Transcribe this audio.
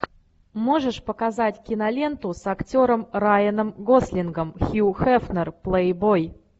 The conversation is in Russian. можешь показать киноленту с актером райаном гослингом хью хефнер плейбой